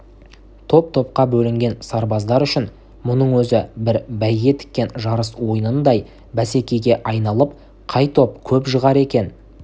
топ-топқа бөлінген сарбаздар үшін мұның өзі бір бәйге тіккен жарыс ойыныңдай бәсекеге айналып қай топ көп жығар екен